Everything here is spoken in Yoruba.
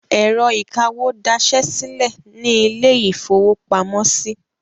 Ẹ̀rọ ìkawó dasẹ́ sílẹ̀ ní ilé-ìfowópamọ́sí.